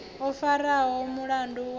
o faraho mulandu wavho u